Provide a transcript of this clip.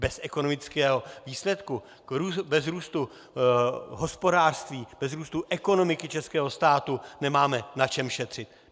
Bez ekonomického výsledku, bez růstu hospodářství, bez růstu ekonomiky českého státu nemáme na čem šetřit.